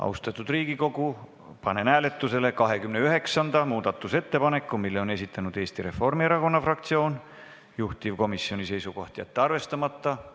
Austatud Riigikogu, panen hääletusele 29. muudatusettepaneku, mille on esitanud Eesti Reformierakonna fraktsioon, juhtivkomisjoni seisukoht: jätta see arvestamata.